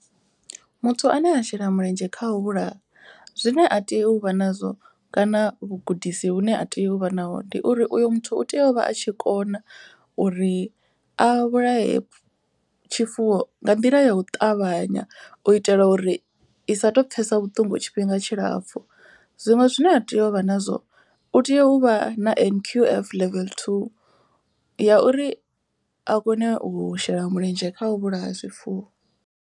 Muthu ane a shela mulenzhe kha u vhulaha. Zwine a tea u vha nazwo kana vhugudisi vhu ne a tea u vha naho. Ndi uri uyo muthu u tea u vha a tshi kona uri a vhulae tshifuwo nga nḓila ya u ṱavhanya. U i tela uri i sa to pfhesa vhuṱungu tshifhinga tshilapfhu. Zwiṅwe zwine a tea uvha nazwo u tea u vha na N_Q_F level two ya uri a kone u shela mulenzhe kha u vhulaya zwifuwo.